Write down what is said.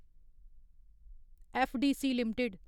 FDC limited